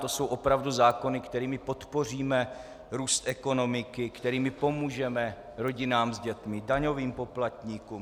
To jsou opravdu zákony, kterými podpoříme růst ekonomiky, kterými pomůžeme rodinám s dětmi, daňovým poplatníkům?